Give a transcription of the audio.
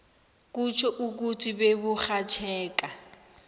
kutjho ukuthi beburhatjheka